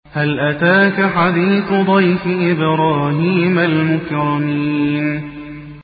هَلْ أَتَاكَ حَدِيثُ ضَيْفِ إِبْرَاهِيمَ الْمُكْرَمِينَ